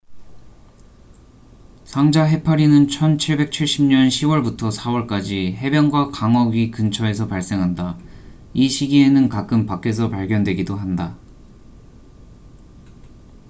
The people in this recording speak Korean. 상자 해파리는 1770년 10월부터 4월까지 해변과 강어귀 근처에서 발생한다 이 시기에는 가끔 밖에서 발견되기도 한다